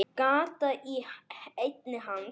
Gat í enni hans.